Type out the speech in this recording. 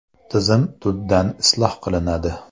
Tizim tubdan isloh qilinadi.